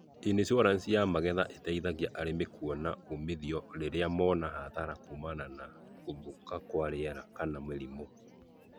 Inicuoranici ya magetha iteithagia arĩmi kũona umithio rĩrĩa mona hathara kumana na gũthũka kwa rĩera kana mĩrimũ.